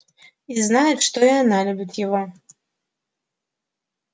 и знает что и она любит его